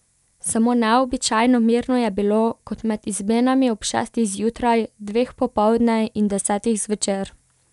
Samo neobičajno mirno je bilo, kot med izmenami ob šestih zjutraj, dveh popoldne in desetih zvečer.